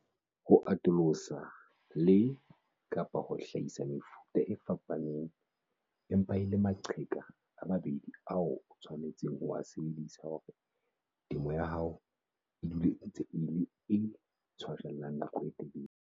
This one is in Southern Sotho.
Ho atolosa le, kapa ho hlahisa mefuta e fapaneng e mpa e le maqheka a mabedi ao o tshwanetseng ho a sebedisa hore temo ya hao e dule e ntse e le e tshwarellang nakong e telele.